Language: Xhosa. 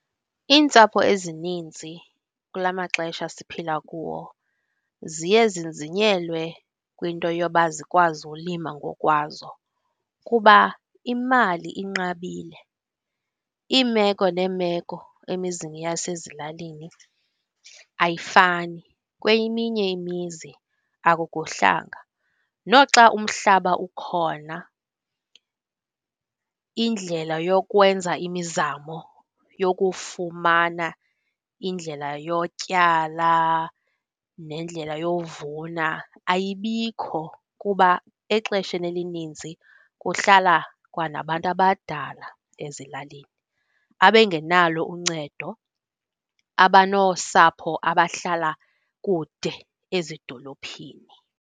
Iintsapho ezininzi kula maxesha siphila kuwo ziye zinzinyelwe kwinto yoba zikwazi ulima ngokwazo kuba imali inqabile, iimeko neemeko emizini yasezilalini ayifani, kweminye imizi akukuhlanga. Noxa umhlaba ukhona, indlela yokwenza imizamo yokufumana indlela yotyala nendlela yovuna ayibikho kuba exesheni elininzi kuhlala kwanabantu abadala ezilalini abengenalo uncedo, abanosapho abahlala kude ezidolophini.